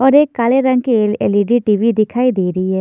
और एक काले रंग की एल एल_ई_डी टी_वी दिखाई दे रही है।